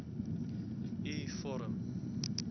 u vorm